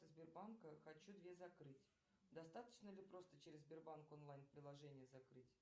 сбербанка хочу две закрыть достаточно ли просто через сбербанк онлайн приложение закрыть